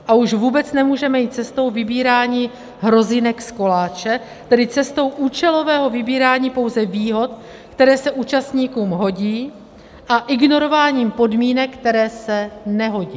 A už vůbec nemůžeme jít cestou vybírání hrozinek z koláče, tedy cestou účelového vybírání pouze výhod, které se účastníkům hodí, a ignorování podmínek, které se nehodí.